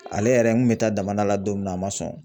Ale yɛrɛ n kun bɛ taa daman da la don min na a ma sɔn.